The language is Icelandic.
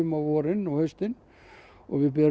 á vorin og haustin við berum